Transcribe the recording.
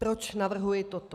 Proč navrhuji toto?